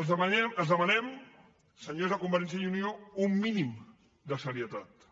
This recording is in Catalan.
els demanem senyors de convergència i unió un mínim de serietat